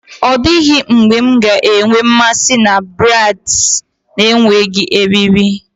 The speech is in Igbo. Ọ dịghị mgbe m ga-enwe mmasị na braids na-enweghị eriri.